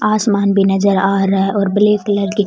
आसमान भी नजर आ रहा है और ब्लैक कलर की --